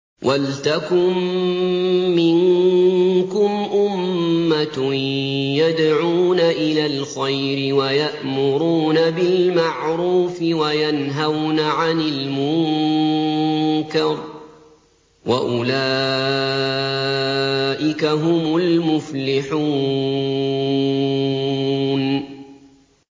وَلْتَكُن مِّنكُمْ أُمَّةٌ يَدْعُونَ إِلَى الْخَيْرِ وَيَأْمُرُونَ بِالْمَعْرُوفِ وَيَنْهَوْنَ عَنِ الْمُنكَرِ ۚ وَأُولَٰئِكَ هُمُ الْمُفْلِحُونَ